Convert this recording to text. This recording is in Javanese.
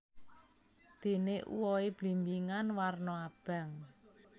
Dene uwohe blimbingan warna abang